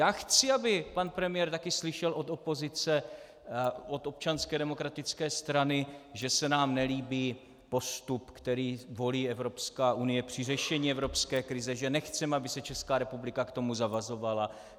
Já chci, aby pan premiér taky slyšel od opozice, od Občanské demokratické strany, že se nám nelíbí postup, který volí Evropská unie při řešení evropské krize, že nechceme, aby se Česká republika k tomu zavazovala.